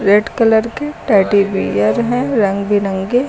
Red colour के teddy bear हैं रंग बिरंगे।